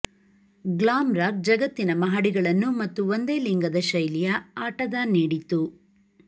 glam rock ಜಗತ್ತಿನ ಮಹಡಿಗಳನ್ನು ಮತ್ತು ಒಂದೇಲಿಂಗದ ಶೈಲಿಯ ಆಟದ ನೀಡಿತು